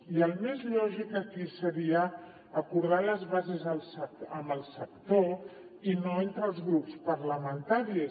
i el més lògic aquí seria acordar les bases amb el sector i no entre els grups parlamentaris